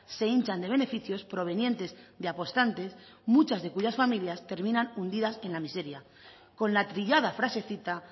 se hinchan de beneficios provenientes de apostantes muchas de cuyas familias terminan unidas en la miseria con la trillada frasecita